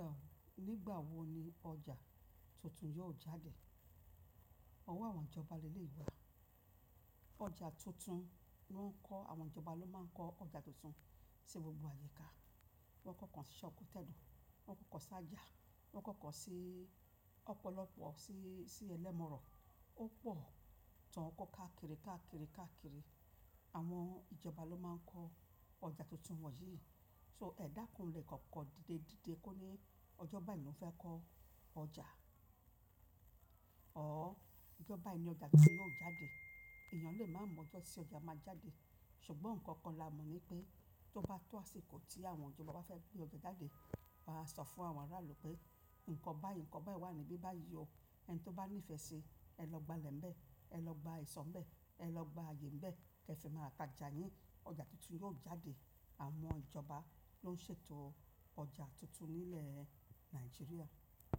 Nígbà wo ni ọjà tuntun yóò jáde? Ọ̀wọ́ àwọn ìjọba le leyi gbà. Ọjà tuntun ló ń kọ àwọn ìjọba ló máa ń kọ ọjà tuntun sí gbogbo àyíká. Wọ́n kọ̀kan sí sango tedo, wọ́n kọ̀kan sí Àjàh, wọ́n kọ̀kan sí ọ̀pọ̀lọpọ̀ sí, sí ẹlẹ́mọ̀rọ̀. Ó pọ̀ tán kó káàkiri, káàkiri, káàkiri. Àwọn ìjọba ló máa ń kọ ọjà tuntun wọ̀nyí. So ẹ dákú lè kọ̀ọ̀kan dídé, dídé kó ní ọjọ́ báyìí ló fẹ́ kọ ọjà. Ọ̀ọ́, ọjọ́ báyìí ni ọjà tuntun yóò jáde. Èèyàn lè máa mọ ọjọ́ tí ọjà máa jáde. Ṣùgbọ́n nǹkan kan la mọ̀ ni pé tó bá tó àsìkò tí àwọn ìjọba fẹ́ gbé ọjà jáde, won a sọ fún àwọn aráàlú pé nǹkan báyìí, ǹkan báyìí wà níbí báyìí o. Ẹni tí ó bá nífẹ̀ẹ́ sí i, ẹ lọ gba ilẹ̀ ń bẹ, ẹ lọ gba ìṣó ń bẹ, ẹ lọ gba ayé ń bẹ kí ẹ fi máa tajà yín. Ọjà tuntun yóò jáde. Àwọn ìjọba ló ń ṣètò ọjà tuntun nílẹ̀ Nàìjíríà.